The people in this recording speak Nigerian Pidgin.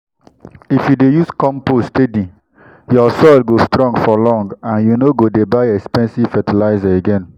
if you dey use compost steady your soil go strong for long and you no go dey buy expensive fertilizer again.